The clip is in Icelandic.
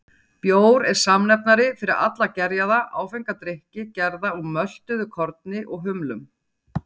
Bjór er samnefnari fyrir alla gerjaða, áfenga drykki gerða úr möltuðu korni og humlum.